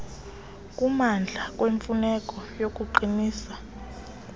okumandla kwemfuneko yokuqinisa